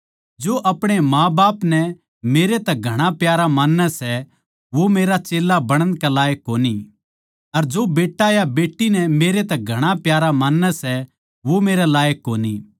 जो अपणे माँबाप नै मेरै तै घणा प्यारा मान्नै सै वो मेरा चेल्ला बणण कै लायक कोणी अर जो बेट्टा या बेट्टी नै मेरै तै घणा प्यारा मान्नै सै वो मेरै लायक कोणी